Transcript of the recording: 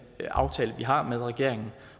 aftale vi har med regeringen